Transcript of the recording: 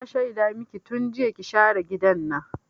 Na shaida maki tun jiya ki share gidan nan!